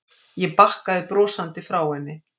Ég bakkaði brosandi frá henni.